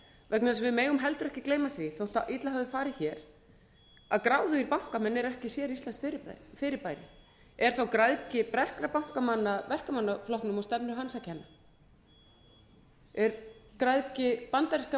vegna þess að við megum heldur ekki gleyma því þótt illa hafi farið hér að gráðugir bankamenn eru ekki séríslenskt fyrirbæri er græðgi breskra bankamanna verkamannaflokknum og stefnu hans að kenna er græðgi bandarískra